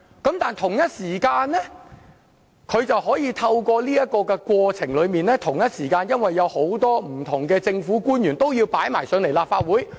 但是，同一時間，這個調查過程卻會對他有利，因為不同的政府官員都要前來立法會作供。